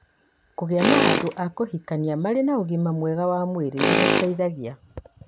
Kũgĩa na andũ a kũhikania marĩ na ũgima mwega wa mwĩrĩ nĩ gũteithagia.